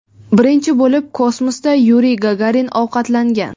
Birinchi bo‘lib kosmosda Yuriy Gagarin ovqatlangan.